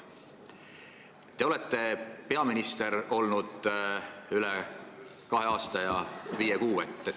Te olete peaminister olnud veidi üle kahe aasta ja viie kuu.